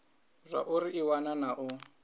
zwauri i wana na u